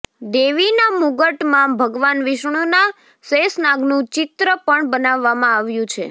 દેવીના મુગટ માં ભગવાન વિષ્ણુના શેષનાગનું ચિત્ર પણ બનાવવામાં આવ્યું છે